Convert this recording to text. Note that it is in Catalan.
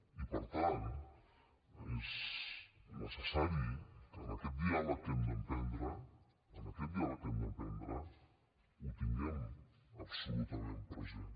i per tant és necessari en aquest diàleg que hem d’emprendre en aquest diàleg que hem d’emprendre que ho tinguem absolutament present